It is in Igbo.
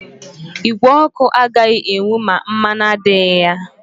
Igwe ọkụ agaghị enwu ma mmanụ adịghị ya